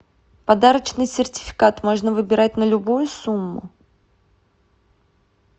подарочный сертификат можно выбирать на любую сумму